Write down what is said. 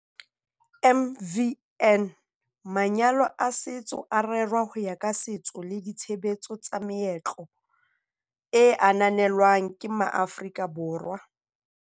MvN- Manyalo a setso a rerwa ho ya ka setso le ditshebetso tsa meetlo e ananelwang ke maAforika Borwa.